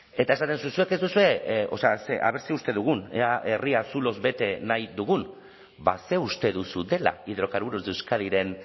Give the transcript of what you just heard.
eta esaten duzu zuek ez duzue o sea a ver zer uste dugun ea herria zuloz bete nahi dugun ba ze uste duzu dela hidrocarburos de euskadiren